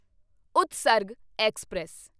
Utsarg express